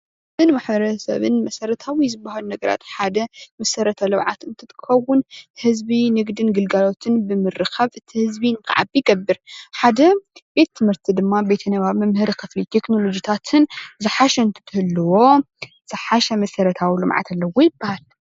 ህዝብን ማሕበረሰብን መሰረታዊ ዝበሃል ነገራት ሓደ መሰረት ልምዓት እንትከውን ህዝቢ ንግድን ግልጋሎትን ብምርኻብ እቲ ህዝቢ ክዓቢ ይገበር ::ሓደ ቤት ትምህርቲ ድማ ቤተ ንባብ መምሀሪ ክፍሊ ቴክኖሎጂታትን ዝሓሸ እንትትህልዎ ዝሓሸ መሰረታዊ ልምዓት ኣለዎ ይበሃል::